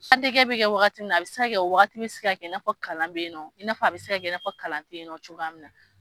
Sa tigɛ bɛ kɛ wagati min na , a bɛ se ka kɛ o wagati bɛ se ka i n'a fɔ kalan bɛ yen i n'a fɔ a bɛ se ka kɛ i n'a fɔ kalan tɛ yen nɔ cogo min na.